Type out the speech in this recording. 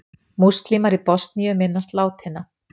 Múslímar í Bosníu minnast látinna